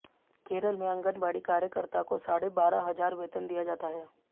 केरल में आंगनबाड़ी कार्यकर्ता को साढ़े बारह हजार वेतन दिया जाता है